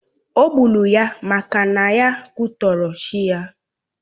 Ò gburu ha maka ha kwutọrò chi ya.